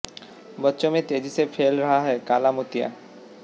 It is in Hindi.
बच्चों में तेजी से फैल रहा है काला मोतिया